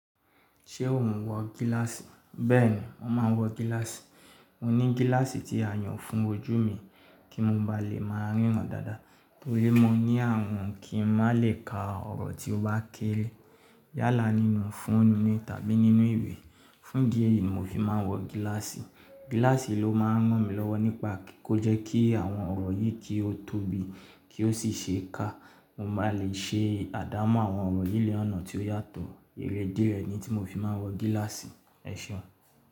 Ṣé ò ń wọ gíláàsì? Bẹ́ẹ̀ni, mo máa ń wọ gíláàsì. Mo ní gíláàsì tí a yàn fún ojú mi kí mo ba lè máa ríran dáadáa. Tori mọ ní ààrùn kí n má lè ka ọ̀rọ̀ tí ó bá kéré yálà nínú foonú tàbí nínú ìwé. Fún idí ẹ̀yìí ni mo fi máa ń wọ gíláàsì. Gíláàsì ló máa ń ràn mí lọ́wọ́ nípa kí ó jẹ́ kí àwọn ọ̀rọ̀ yìí kí ó tóbi kí ó sì ṣe é ká. Mo máa lè ṣe àdámọ́ àwọn ọ̀rọ̀ yi ni ọ̀nà tí ó yàtọ̀. Erè idí rẹ̀ ni tí mo fi máa ń wọ gíláàsì. Ẹ̀ṣọ́